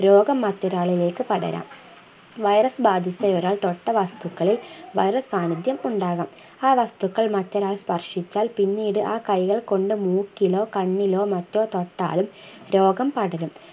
രോഗം മറ്റൊരാളിലേക്ക് പടരാം virus ബാധിച്ച ഒരാൾ തൊട്ട വസ്തുക്കളിൽ virus സാന്നിധ്യം ഉണ്ടാകാം ആ വസ്തുക്കൾ മറ്റൊരാൾ സ്പർശിച്ചാൽ പിന്നീട് ആ കൈകൾ കൊണ്ട് മൂക്കിലോ കണ്ണിലോ മറ്റോ തൊട്ടാലും രോഗം പടരും